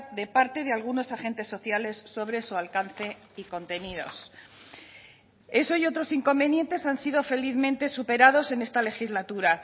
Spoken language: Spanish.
de parte de algunos agentes sociales sobre su alcance y contenidos eso y otros inconvenientes han sido felizmente superados en esta legislatura